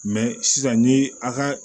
sisan ni a ka